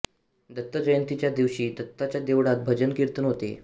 दत्त जयंतीच्या दिवशी दत्ताच्या देवळात भजन कीर्तन होते